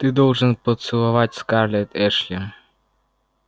ты должен поцеловать скарлетт эшли